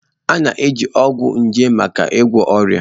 A na-eji ọgwụ nje maka ịgwọ ọrịa